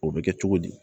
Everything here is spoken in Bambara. O bɛ kɛ cogo di